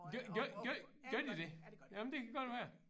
Gør gør gør gør de det? Jamen det kan godt være